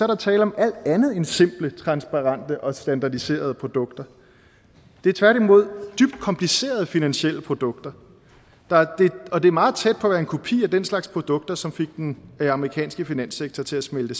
der tale om alt andet end simple transparente og standardiserede produkter det er tværtimod dybt komplicerede finansielle produkter og det er meget tæt på at være en kopi af den slags produkter som fik den amerikanske finanssektor til at smelte